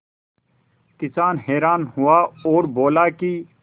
किसान हैरान हुआ और बोला कि